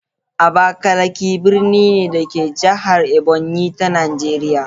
Abakalaki birni ne, da ke a jihar Ebonyi ta Najeriya.